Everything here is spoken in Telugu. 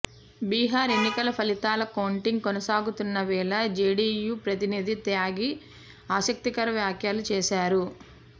బీహార్ ఎన్నికల ఫలితాల కౌంటింగ్ కొనసాగుతున్న వేళ జెడియు ప్రతినిధి త్యాగి ఆసక్తికర వ్యాఖ్యలు చేశారు